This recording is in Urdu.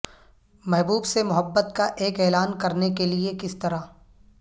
محبوب سے محبت کا ایک اعلان کرنے کے لئے کس طرح